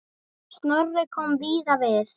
Snorri kom víða við.